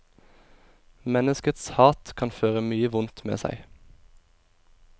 Menneskets hat kan føre mye vondt med seg.